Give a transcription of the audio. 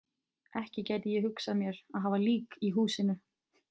Ekki gæti ég hugsað mér að hafa lík í húsinu.